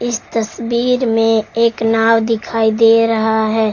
इस तस्वीर में एक नाव दिखाई दे रहा है।